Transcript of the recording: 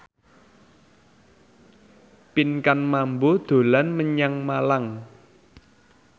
Pinkan Mambo dolan menyang Malang